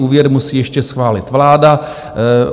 Úvěr musí ještě schválit vláda.